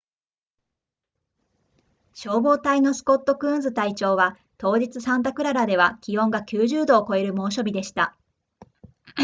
消防隊のスコットクーンズ隊長は当日サンタクララでは気温が90度を超える猛暑日でした